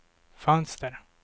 fönster